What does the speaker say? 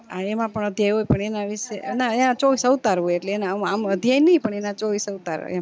હા એમાં પણ અધ્યાય હોય પણ એના વિષે ના ચોવીશ અવતાર હોય એટલે એમાં આમ આમ અધ્યાય નય અને એના ચોવીશ અવતાર